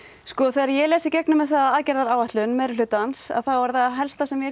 þegar ég les í gegnum þessa aðgerðaáætlun er það helsta sem